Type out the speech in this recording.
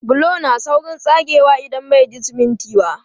Bulo na saurin tsagewa idan bai ji siminti ba.